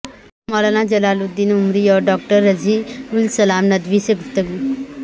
مولانا جلال الدین عمری اور ڈاکٹر رضی الاسلام ندوی سے گفتگو